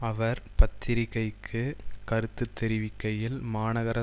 அவர் பத்திரிகைக்கு கருத்து தெரிவிக்கையில் மாநகர